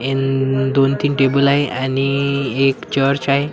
दोन तीन टेबल आहे आणि एक चर्च आहे.